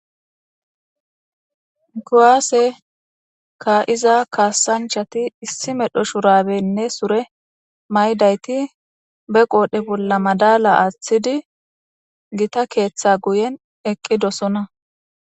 Kuwase ka,iza kasanchati issi medho shurabenne sure mayidayiti be qodhe bolla madalla atidi githa ketha guyen eqidosona